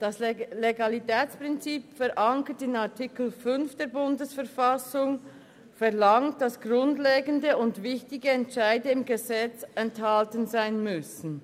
Das Legalitätsprinzip, verankert in Artikel 5 BV, verlangt, dass grundlegende und wichtige Entscheide im Gesetz enthalten sein müssen.